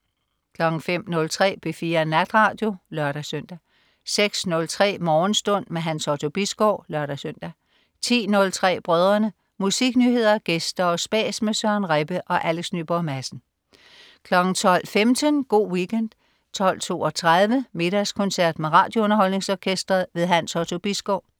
05.03 P4 Natradio (lør-søn) 06.03 Morgenstund. Hans Otto Bisgaard (lør-søn) 10.03 Brødrene. Musiknyheder, gæster og spas med Søren Rebbe og Alex Nyborg Madsen 12.15 Go' Weekend 12.32 Middagskoncert med RadioUnderholdningsOrkestret. Hans Otto Bisgaard